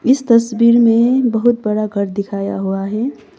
इस तस्वीर में बहुत बड़ा घर दिखाया हुआ है।